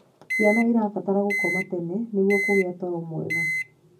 Ciana irabatara gukoma tene nĩguo kugia toro mwega